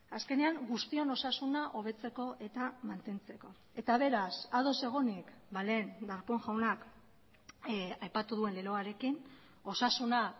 azkenean guztion osasuna hobetzeko eta mantentzeko eta beraz ados egonik lehen darpón jaunak aipatu duen leloarekin osasuna